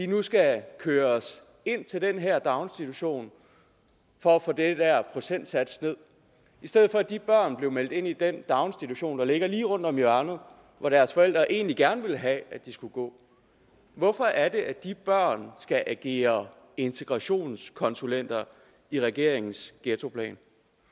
nu skal køres ind til den her daginstitution for at få den der procentsats ned i stedet for at de børn blev meldt ind i den daginstitution der ligger lige rundt om hjørnet hvor deres forældre egentlig gerne ville have at de skulle gå hvorfor er det at de børn skal agere integrationskonsulenter i regeringens ghettoplan